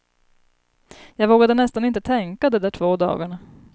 Jag vågade nästan inte tänka, de där två dagarna.